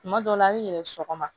Kuma dɔw la a bi yɛlɛ sɔgɔma